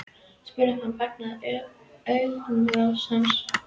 spurði hún og fangaði augnaráð hans.